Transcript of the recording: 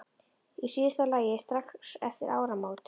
Í síðasta lagi strax eftir áramót.